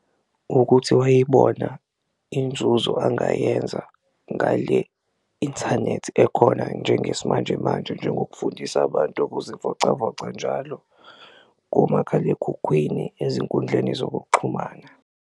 Ukuthi wayibona inzuzo angayenza ngale inthanethi ekhona njengesimanjemanje njengokufundisa abantu ukuzivocavoca njalo komakhalekhukhwini, ezinkundleni zokuxhumana.